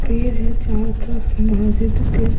फिर है चारों तरफ मस्जिद के।